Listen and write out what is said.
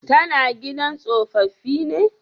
Ta na gidan tsofaffi ne?